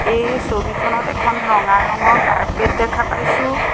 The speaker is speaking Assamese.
এই ছবিখনত এখন ৰঙা ৰঙৰ কাৰ্পেট দেখা পাইছোঁ।